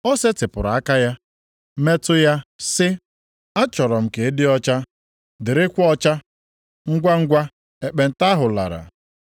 O setịpụrụ aka ya, metụ ya sị, “Achọrọ m ka ị dị ọcha, dịrịkwa ọcha!” Ngwangwa, ekpenta ahụ lara.